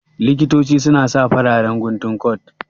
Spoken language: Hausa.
Likitoci su na sa fararen guntun kot